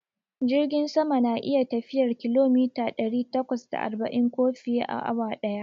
Jirgin sama na iya tafiyar kilomita ɗari takwas da arba'in ko fiye, a awa daya